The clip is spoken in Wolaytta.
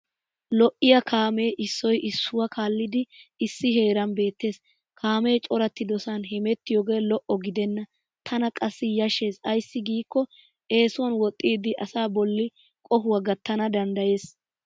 Lo'iya kaamee issoy issuwaa kaallidi issi heeran beettes. Kaamee coratidosan hemettiyoogee lo'o gidenna tana qassi yashshes ayssi giikko eesuwan woxxiiddi asa bolli qohuwa gattana danddayes.